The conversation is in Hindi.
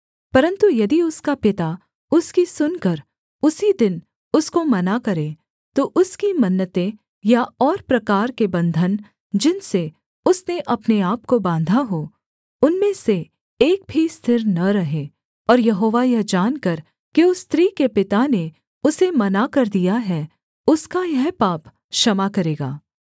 परन्तु यदि उसका पिता उसकी सुनकर उसी दिन उसको मना करे तो उसकी मन्नतें या और प्रकार के बन्धन जिनसे उसने अपने आपको बाँधा हो उनमें से एक भी स्थिर न रहे और यहोवा यह जानकर कि उस स्त्री के पिता ने उसे मना कर दिया है उसका यह पाप क्षमा करेगा